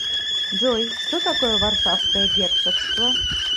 джой что такое варшавское герцогство